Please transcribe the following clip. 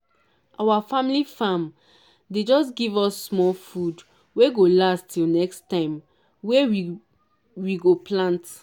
our family farm dey just give us small food wey go last till next time wey we [?.] we go plant.